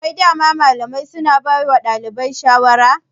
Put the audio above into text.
Wai dama malamai suna bawa ɗalibai shawara?